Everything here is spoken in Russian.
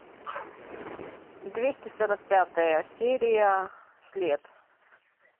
двести сорок пятая серия след